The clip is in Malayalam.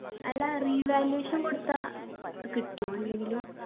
അല്ല revaluation കൊടുത്താ കിട്ടുവൊ എന്തെങ്കിലും